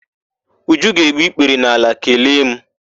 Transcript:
Uju ga-egbu ikpere n'ala kelee mụ.